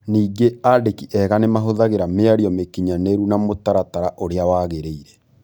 Ningĩ andĩki ega nĩ mahũthagĩra mĩario mĩkinyanĩru na mũtaratara ũrĩa wagĩrĩire.